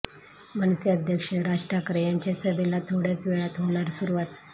मनसे अध्यक्ष राज ठाकरे यांच्या सभेला थोड्याच वेळात होणार सुरुवात